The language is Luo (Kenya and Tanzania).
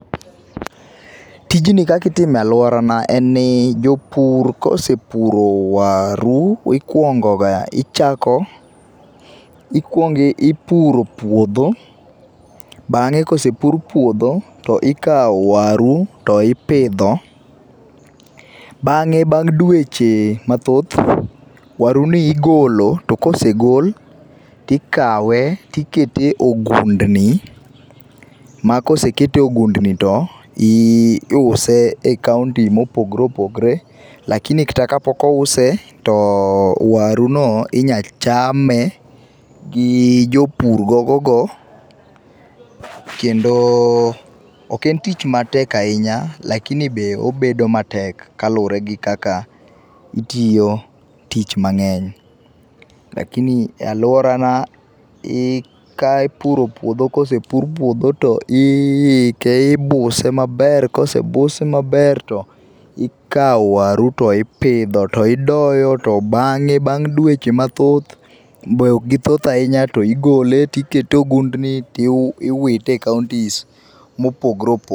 Tijni kaka itimo e aluorana en ni jopur kosepuro waru ikuongo ga ichako ,ikuong ipuro puodho, bange ka osepur puodho to ikaw waru to ipidho, bange bang dweche mathoth waru ni igolo to kosegol to ikawe to ikete e ogundni ma kosekete e ogundni to iuse e kaunti ma opogore opogore. Lakini kata ka pok ouse to waruno inya chame gi jopur gogo go kendo oken tich matek ahinya, lakini be obedo matek kaluore gi kaka itiyo tich mangeny lakini e aluorana ka ipuro puodho kosepur puodho to iike, ibuse maber kosebuse maber to ikao waru to ipidho to idoyo to bange bang dweche mathoth be ok githoth ahinya to igole tikete e ogundni to iwite e kauntis ma opogore opogore